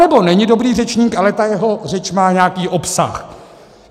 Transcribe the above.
Anebo není dobrý řečník, ale ta jeho řeč má nějaký obsah.